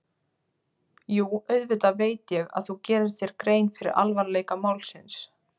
Jú, auðvitað veit ég að þú gerir þér grein fyrir alvarleika málsins.